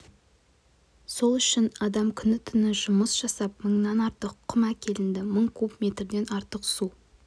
сол үшін адам күні-түні жұмыс жасап мыңнан артық құм әкелінді мың куб метрден артық су